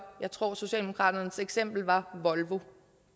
jeg tror at socialdemokratiets eksempel var volvo